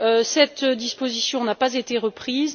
Cette disposition n'a pas été reprise.